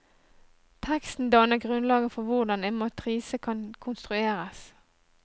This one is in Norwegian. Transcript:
Teksten danner grunnlaget for hvordan en matrise kan konstrueres.